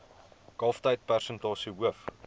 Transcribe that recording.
kalftyd persentasie hoof